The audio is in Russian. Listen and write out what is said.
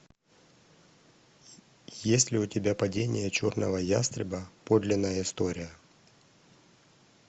есть ли у тебя падение черного ястреба подлинная история